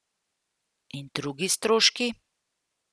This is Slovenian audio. In drugi stroški?